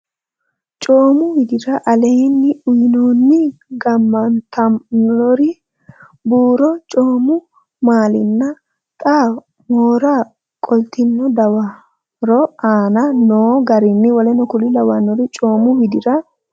Coomu widira aleenni uynoonni gaamantannori buuru coomu maalinna xa mora qoltino dawaro aane noo garinni w k l Coomu widira.